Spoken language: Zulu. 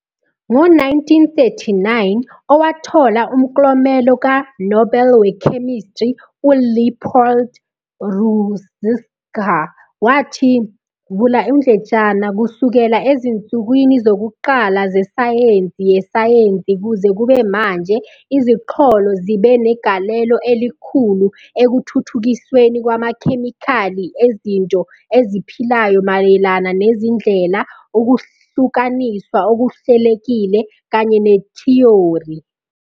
Ngo-1939, owathola umklomelo kaNobel weKhemistry, uLeopold Ružička wathi "kusukela ezinsukwini zokuqala zesayensi yesayensi kuze kube manje, iziqholo zibe negalelo elikhulu ekuthuthukisweni kwamakhemikhali ezinto eziphilayo mayelana nezindlela, ukuhlukaniswa okuhlelekile, kanye nethiyori.